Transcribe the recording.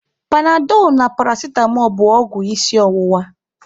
Panadọlụ na paracitamọ bụ ọgwụ isi ọwụwa.